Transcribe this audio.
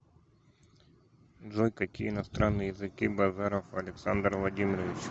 джой какие иностранные языки базаров александр владимирович